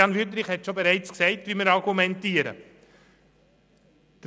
Grossrat Wüthrich hat bereits vorweggenommen, wie wir argumentieren werden.